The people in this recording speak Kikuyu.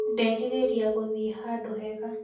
Ndĩrerĩria gũthiĩ handũ hega